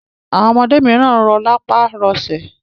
Àwọn ọmọdé mìíràn tí rọ lápá, rọ lẹsẹ.